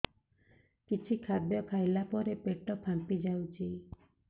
କିଛି ଖାଦ୍ୟ ଖାଇଲା ପରେ ପେଟ ଫାମ୍ପି ଯାଉଛି